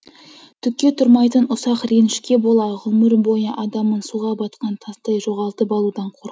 түкке тұрмайтын ұсақ ренішке бола ғұмыр бойы адамын суға батқан тастай жоғалтып алудан қорқып